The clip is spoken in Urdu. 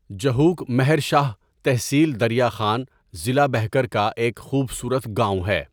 جهوک مہر شاہ تحصیل دریا خان ضلع بهکر کا ایک خوبصورت گاؤں ہے.